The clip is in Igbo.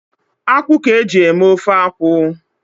Akwụ ka eji eme ofe akwụ